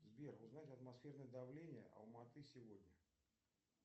сбер узнать атмосферное давление алма аты сегодня